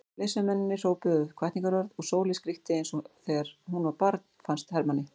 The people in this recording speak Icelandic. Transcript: Leiðsögumennirnir hrópuðu hvatningarorð og Sóley skríkti eins og þegar hún var barn fannst Hermanni.